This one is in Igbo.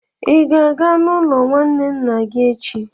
ị ga-aga n'ụlọ nwanne nna gị echi?